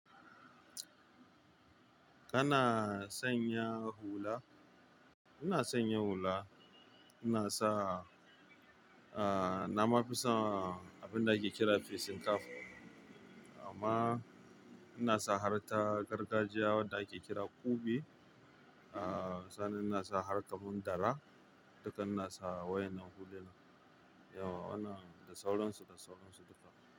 Kana sanya hula? Ina sanya hula. Ina sa, ah, na ma fi son abin da ake kira fecin kaf. Amma ina son har ta gargajiya wanda ake kira kube. Ah, sannan ina sa har kaman dara. Duka ina sa wayen nan hulunan, yau wa wannan da sauransu da sauransu duka.